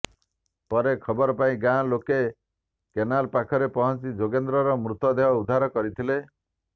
ପରେ ଖବର ପାଇ ଗାଁ ଲୋକ କେନାଲ୍ ପାଖରେ ପହଞ୍ଚି ଯୋଗେନ୍ଦ୍ରର ମୃତ ଦେହ ଉଦ୍ଧାର କରିଥିଲେ